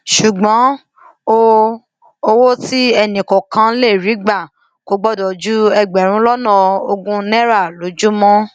ṣùgbọn o owó tí ẹnìkọọkan lè rí gbà kò gbọdọ ju ẹgbẹrún lọnà ogún náírà lójúmọ